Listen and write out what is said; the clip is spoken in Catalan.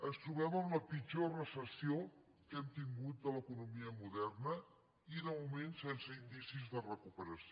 ens trobem amb la pitjor recessió que hem tingut a l’economia moderna i de moment sense indicis de recuperació